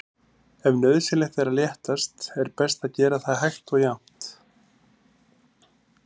Ef nauðsynlegt er að léttast er best að gera það hægt og jafnt.